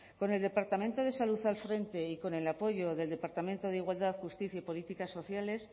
con el departamento de salud al frente y con el apoyo del departamento de igualdad justicia y políticas sociales